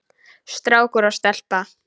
Strákur og stelpa.